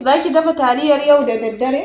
Zaki dafa taliyar yau da daddare?